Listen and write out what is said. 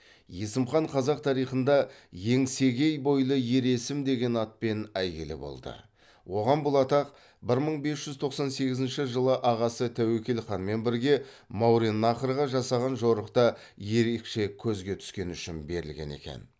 есім хан қазақ тарихында еңсегей бойлы ер есім деген атпен әйгілі болды оған бұл атақ бір мың бес жүз тоқсан сегізінші жылы ағасы тәуекел ханмен бірге мауреннахрға жасаған жорықта ерекше көзге түскені үшін берілген екен